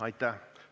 Aitäh!